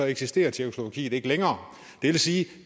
eksisterer tjekkoslovakiet ikke længere det vil sige